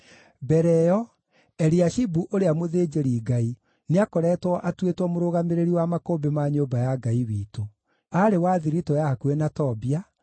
Mbere ĩyo, Eliashibu ũrĩa mũthĩnjĩri-Ngai nĩakoretwo atuĩtwo mũrũgamĩrĩri wa makũmbĩ ma nyũmba ya Ngai witũ. Aarĩ wa thiritũ ya hakuhĩ na Tobia,